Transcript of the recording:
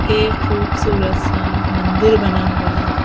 एक खूबसूरत सा मंदिर बना हुआ है।